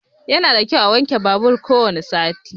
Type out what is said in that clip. Yana da kyau wanke babur ko wani sati.